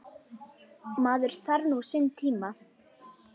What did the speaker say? Maður þarf nú sinn tíma.